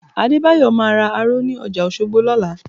Adébáyọ̀ máa ra aró ní ọjà Òṣogbo lọ́la